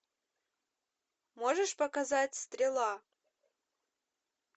можешь показать стрела